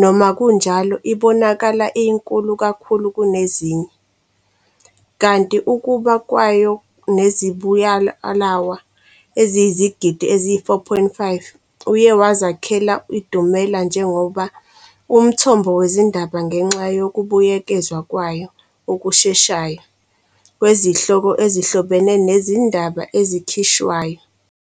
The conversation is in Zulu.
noma-kunjalo ibonakala iyinkulu kakhulu kunezinye, kanti ukuba kwayo nezibualwa eziyizigidi ezi-4.5a uye wazakhela idumela njengoba umthombo wezindaba ngenxa yokubuyekezwa kwayo okusheshayo kwezihloko ezihlobene nezindaba ezikhishwayo.